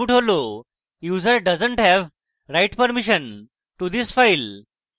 user doesn t have write permission to this file